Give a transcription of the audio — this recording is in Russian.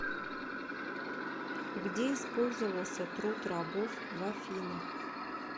где использовался труд рабов в афинах